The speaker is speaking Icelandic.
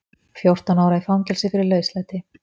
Fjórtán ára í fangelsi fyrir lauslæti